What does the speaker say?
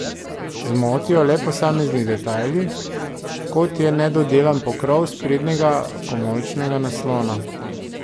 Zmotijo le posamezni detajli, kot je nedodelan pokrov sprednjega komolčnega naslona.